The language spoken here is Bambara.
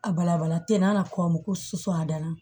A balabala ten n'a na komi ko sufɛ a danna